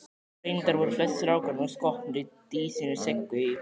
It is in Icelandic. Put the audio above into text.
Reyndar voru flestir strákanna skotnir í dísinni Siggu í